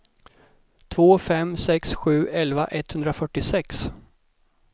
två fem sex sju elva etthundrafyrtiosex